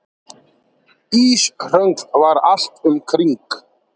Íshröngl var allt um kring.